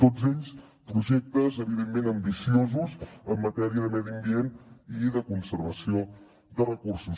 tots ells projectes evidentment ambiciosos en matèria de medi ambient i de conservació de recursos